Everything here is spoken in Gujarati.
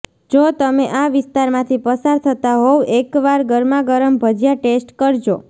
જો તમે આ વિસ્તારમાંથી પસાર થતા હોવ એકવાર ગરમાગરમ ભજિયા ટેસ્ટ કરજો